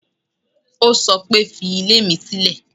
Ó sọ pé, fi ilé mi sílè.